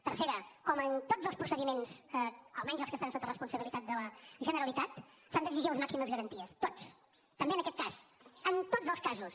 tercera com en tots els procediments almenys els que estan sota la responsabilitat de la generalitat s’han d’exigir les màximes garanties tots també en aquest cas en tots els casos